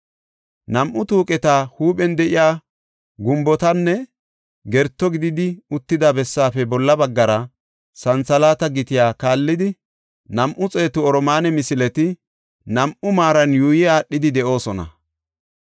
Nam7u tuuqeta huuphen de7iya gumbotan gerto gididi uttida bessaafe bolla baggara, santhalaata gitiya kaallidi, nam7u xeetu oromaane misileti nam7u maaran yuuyi aadhidi de7oosona.